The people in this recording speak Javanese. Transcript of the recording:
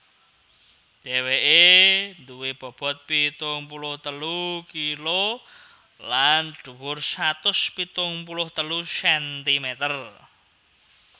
Dhèwèké duwé bobot pitung puluh telu kilo lan dhuwur satus pitung puluh telu sentimeter